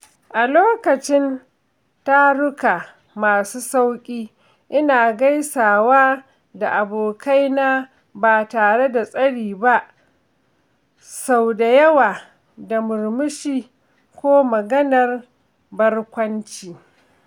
A lokacin taruka masu sauƙi, ina gaisawa da abokaina ba tare da tsari ba, sau da yawa da murmushi ko maganar barkwanci.